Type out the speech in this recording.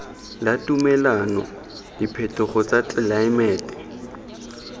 la tumelano diphetogo tsa tlelaemete